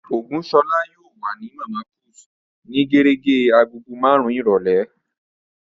Ògúnṣọlá yóò wà ní Màmá put ní gérégé agogo marun-un ìrọ̀lẹ́